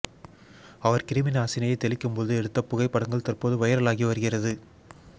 அவர் கிருமி நாசினியை தெளிக்கும்போது எடுத்த புகைப்படங்கள் தற்போது வைரலாகி வருகிறது